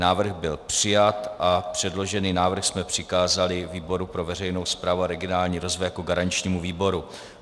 Návrh byl přijat a předložený návrh jsme přikázali výboru pro veřejnou správu a regionální rozvoj jako garančnímu výboru.